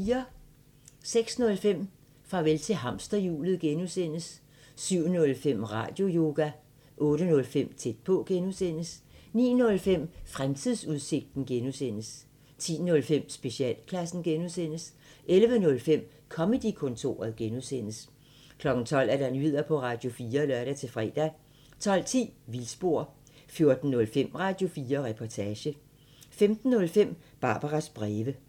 06:05: Farvel til hamsterhjulet (G) 07:05: Radioyoga 08:05: Tæt på (G) 09:05: Fremtidsudsigten (G) 10:05: Specialklassen (G) 11:05: Comedy-kontoret (G) 12:00: Nyheder på Radio4 (lør-fre) 12:10: Vildspor 14:05: Radio4 Reportage 15:05: Barbaras breve